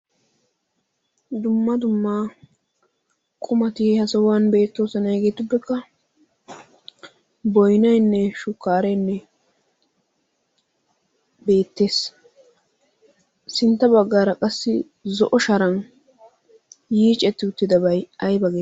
dumma dummaa qumati ha sahuwan beettoosana hegeetuppekka boynaynne shukkaarenne beettees sintta baggaara qassi zo'o sharan yiicetti uttidabay ayba geeti